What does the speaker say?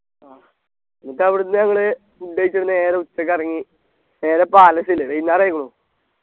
ആ എന്നിട്ട് അവിടുന്ന് ഞങ്ങള് food കഴിച്ചിട്ട് നേരെ ഉച്ചക്ക് ഇറങ്ങി നേരെ Palace ല് വൈന്നേരായിക്കുണു